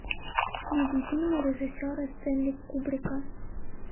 найди фильмы режиссера стэнли кубрика